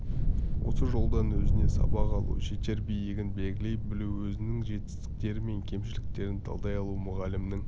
осы жолдан өзіне сабақ алу жетер биігін белгілей білу өзінің жетістіктері мен кемшіліктерін талдай алу мұғалімнің